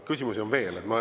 Küsimusi on veel.